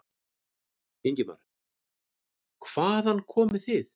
Ingimar: Hvaðan komið þið?